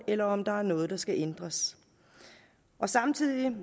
eller om der er noget der skal ændres samtidig